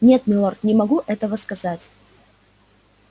нет милорд не могу этого сказать